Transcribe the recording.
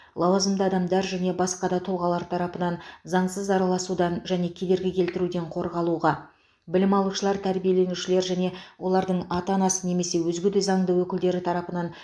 лауазымды адамдар және басқа да тұлғалар тарапынан заңсыз араласудан және кедергі келтіруден қорғалуға білім алушылар тәрбиеленушілер және олардың ата анасы немесе өзге де заңды өкілдері тарапынан